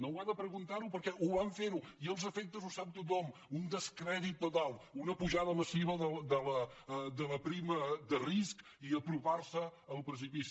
no ho ha de preguntar perquè ho van fer i els efectes els sap tothom un descrèdit total una pujada massiva de la prima de risc i apropar se al precipici